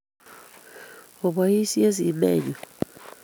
Aboishe simenyu